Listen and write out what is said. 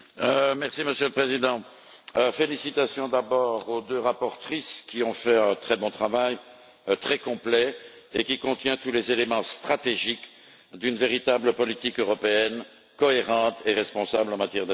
Monsieur le Président, je félicite d'abord les deux rapporteures, qui ont fait un très bon travail, très complet et qui contient tous les éléments stratégiques d'une véritable politique européenne cohérente et responsable en matière d'asile.